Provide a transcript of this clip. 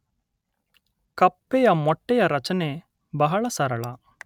ಕಪ್ಪೆಯ ಮೊಟ್ಟೆಯ ರಚನೆ ಬಹಳ ಸರಳ